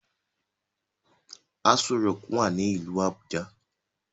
Aso rock wá ní ilú Abuja.